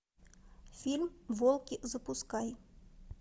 фильм волки запускай